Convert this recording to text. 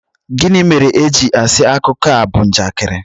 gini mere eji asi akuko a bu njakịrị